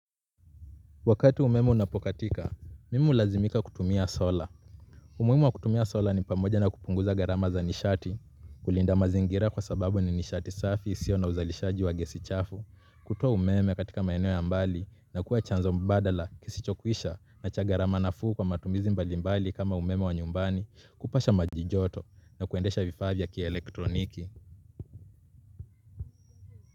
Wakati umeme unapokatika, mimi hulazimika kutumia sola. Umuhimu wa kutumia sola ni pamoja na kupunguza gharama za nishati, kulinda mazingira kwa sababu ni nishati safi, isio na uzalishaji wa gesi chafu. Kutoa umeme katika maeneo ya mbali na kuwa chanzo mbadala kisichokuisha na cha gharama nafuu kwa matumizi mbalimbali kama umeme wa nyumbani kupasha maji joto na kuendesha vifaa vya kielektroniki.